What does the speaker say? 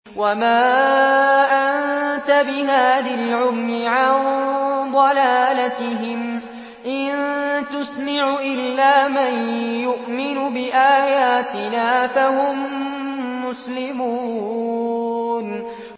وَمَا أَنتَ بِهَادِي الْعُمْيِ عَن ضَلَالَتِهِمْ ۖ إِن تُسْمِعُ إِلَّا مَن يُؤْمِنُ بِآيَاتِنَا فَهُم مُّسْلِمُونَ